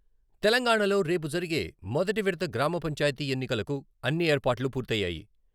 తెలంగాణలో రేపు జరిగే మొదటి విడత గ్రామ పంచాయతీ ఎన్నికలకు అన్ని ఏర్పాట్లు పూర్తయ్యాయి.